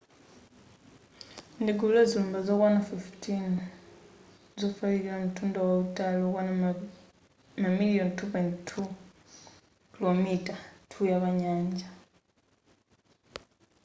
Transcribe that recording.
ndi gulu la zilumba zokwana 15 zofalikira mtunda wautali okwana mamaliyoni 2.2 km2 pa nyanja